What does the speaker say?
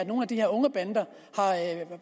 nogle af de her unge bander